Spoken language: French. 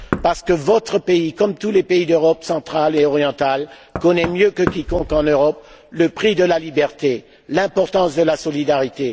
En effet, votre pays, comme tous les pays d'Europe centrale et orientale, connaît mieux que quiconque en Europe le prix de la liberté, l'importance de la solidarité.